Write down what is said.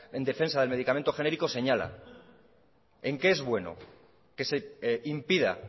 en defensa del medicamento genérico señala en qué es bueno que se impida